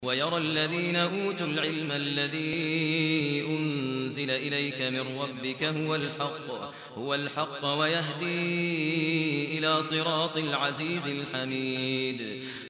وَيَرَى الَّذِينَ أُوتُوا الْعِلْمَ الَّذِي أُنزِلَ إِلَيْكَ مِن رَّبِّكَ هُوَ الْحَقَّ وَيَهْدِي إِلَىٰ صِرَاطِ الْعَزِيزِ الْحَمِيدِ